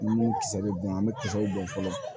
Ni min kisɛ bɛ bɔn an bɛ kisɛw dɔn fɔlɔ